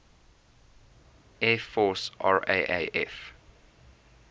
air force raaf